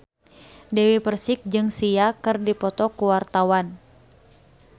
Dewi Persik jeung Sia keur dipoto ku wartawan